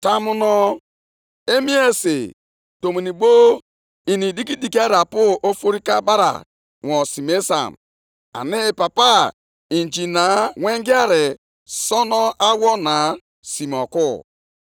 I meela ndị mmadụ ka ha dịrị ka azụ nke osimiri, e, dịka anụ na-akpụ akpụ nke oke osimiri, nke na-enweghị onye na-achị ha.